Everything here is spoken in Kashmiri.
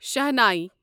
شہناے